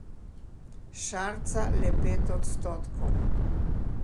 Šarca le pet odstotkov.